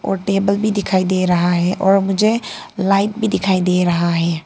और टेबल भी दिखाई दे रहा है और मुझे लाइट भी दिखाई दे रहा है।